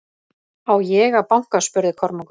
Á ég að banka spurði Kormákur.